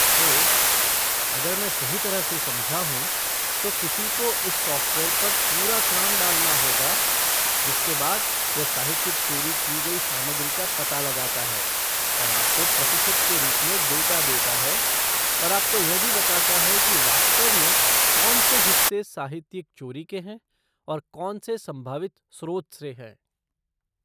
तो, अगर मैं सही तरह से समझा हूँ, तो किसी को इस सॉफ़्टवेयर पर पूरा काम डालना होगा, जिसके बाद यह साहित्यिक चोरी की गई सामग्री का पता लगाता है और आपको प्रतिशत के रूप में डेटा देता है और आपको यह भी बताता है कि वास्तव में कौन से हिस्से साहित्यिक चोरी के हैं और कौन से संभावित स्रोत से हैं।